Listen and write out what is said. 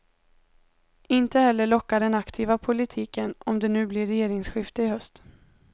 Inte heller lockar den aktiva politiken, om det nu blir regeringsskifte i höst.